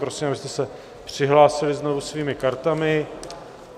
Prosím, abyste se přihlásili znovu svými kartami.